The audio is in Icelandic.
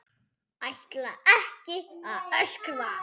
Ætla ekki að öskra.